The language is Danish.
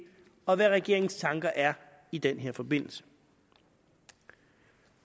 og hvad regeringens tanker er i den forbindelse